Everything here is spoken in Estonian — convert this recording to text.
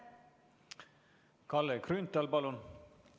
Kalle Grünthal, palun!